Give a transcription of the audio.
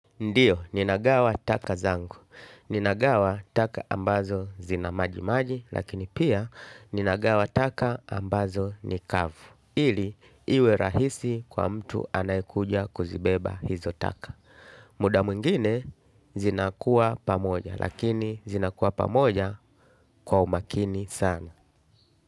Ndiyo, ninagawa taka zangu. Ninagawa taka ambazo zinamaji maji, lakini pia ninagawa taka ambazo nikavu. Ili, iwe rahisi kwa mtu anayekuja kuzibeba hizo taka. Muda mwingine, zinakuwa pamoja, lakini zinakuwa pamoja kwa umakini sana.